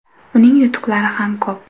Uning yutuqlari ham ko‘p.